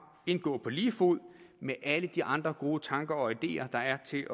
indgå på lige fod med alle de andre gode tanker og ideer der er til